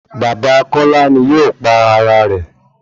Bàbá Kọ́lá ni yóò pa ara rẹ̀